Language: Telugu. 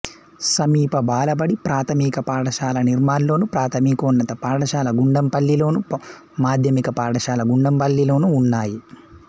సమీప బాలబడి ప్రాథమిక పాఠశాల నిర్మల్లోను ప్రాథమికోన్నత పాఠశాల గుండంపల్లిలోను మాధ్యమిక పాఠశాల గుండంపల్లిలోనూ ఉన్నాయి